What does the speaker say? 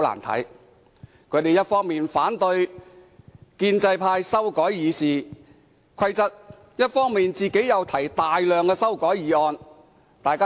他們一方面反對建制派修改《議事規則》，一方面卻又提出大量擬議決議案。